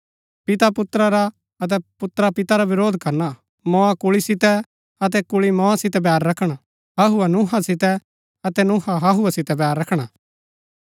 पिता पुत्रा रा अतै पुत्रा पिता रा वरोध करना मोआ कुल्ळी सितै अतै कुल्ळी मोआ सितै बैर रखणा हहूआ नुहहा सितै अतै नुहहा हहूआ सितै बैर रखणा